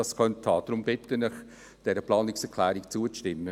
Deshalb bitte ich Sie, dieser Planungserklärung zuzustimmen.